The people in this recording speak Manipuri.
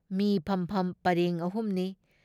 ꯃꯤ ꯐꯝꯐꯝ ꯄꯔꯦꯡ ꯑꯍꯨꯝꯅꯤ ꯫